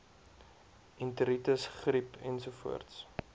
enteritis griep ensovoorts